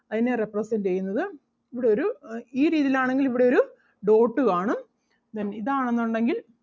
അതിനെ represent ചെയ്യുന്നത് ഇവിടൊരു അഹ് ഈ രീതിയിൽ ആണെങ്കിൽ ഇവിടൊരു dot കാണും then ഇതാണെന്നുണ്ടെങ്കിൽ